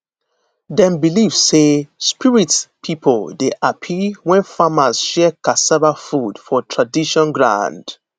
dem believe say spirit people dey happy when farmers share cassava food for tradition ground